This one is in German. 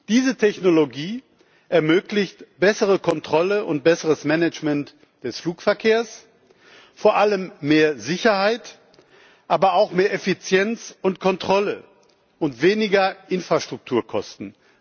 Diese Technologie ermöglicht bessere Kontrolle und besseres Management des Flugverkehrs, vor allem mehr Sicherheit, aber auch mehr Effizienz und Kontrolle und weniger Infrastrukturkosten.